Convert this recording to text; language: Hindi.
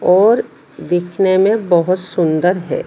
और दिखने में बहोत सुंदर है।